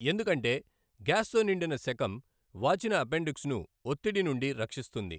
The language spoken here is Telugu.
ఎందుకంటే గ్యాస్తో నిండిన సెకమ్, వాచిన అపెండిక్స్ను ఒత్తిడి నుండి రక్షిస్తుంది.